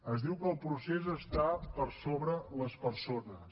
és diu que el procés està per sobre les persones